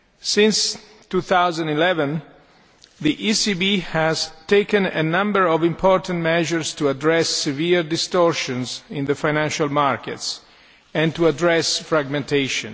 Since 2011, the ECB has taken a number of important measures to address severe distortions in the financial markets and to address fragmentation.